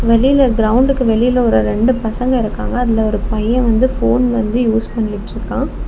வெளியில கிரவுண்டுக்கு வெளியில ஒரு ரெண்டு பசங்க இருக்காங்க அதுல ஒரு பைய வந்து ஃபோன் வந்து யூஸ் பண்ணிட்ருக்கா.